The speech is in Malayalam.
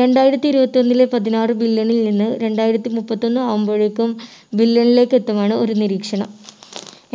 രണ്ടായിരത്തി ഇരുപത്തി ഒന്നിലെ പതിനാറ് million ൽ നിന്ന് രണ്ടായിരത്തി മുപ്പത്തിയൊന്ന് ആവുമ്പോഴേക്കും billion ലേക്ക് എത്തുമാണ് ഒരു നിരീക്ഷണം.